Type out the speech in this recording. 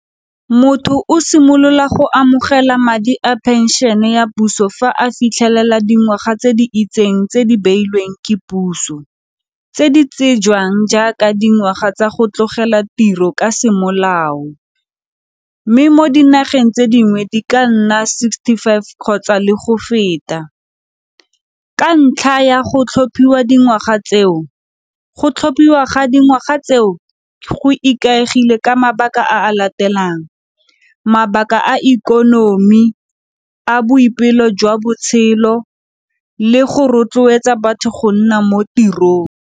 Motho o simolola go amogela madi a phenšene ya puso fa a fitlhelela dingwaga tse di itseng tse di beilweng ke puso tse di tsejwang jaaka dingwaga tsa go tlogela tiro ka semolao mme mo dinageng tse dingwe di ka nna sixty five kgotsa le go feta ka ntlha ya go tlhophiwa dingwaga tseo, go tlhophiwa ga dingwaga tseo go ikaegile ka mabaka a latelang, mabaka a ikonomi a boipelo jwa botshelo le go rotloetsa batho go nna mo tirong.